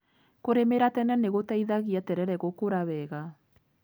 Kũrĩmĩra tene nĩgũteithagia terere gũkũra wega.